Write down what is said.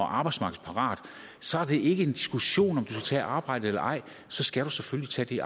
arbejdsmarkedsparat så er det ikke en diskussion om du skal arbejde eller ej så skal du selvfølgelig